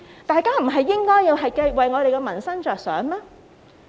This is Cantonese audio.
大家不是應該為民生着想嗎？